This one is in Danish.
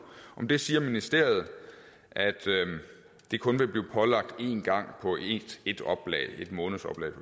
om det siger ministeriet at det kun vil blive pålagt én gang på ét oplag et månedsoplag